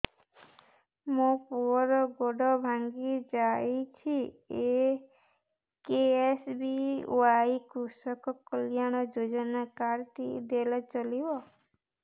ମୋ ପୁଅର ଗୋଡ଼ ଭାଙ୍ଗି ଯାଇଛି ଏ କେ.ଏସ୍.ବି.ୱାଇ କୃଷକ କଲ୍ୟାଣ ଯୋଜନା କାର୍ଡ ଟି ଦେଲେ ଚଳିବ